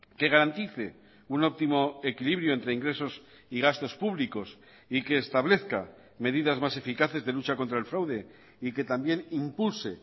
que garantice un óptimo equilibrio entre ingresos y gastos públicos y que establezca medidas más eficaces de lucha contra el fraude y que también impulse